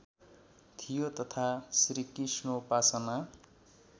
थियो तथा श्रीकृष्णोपासना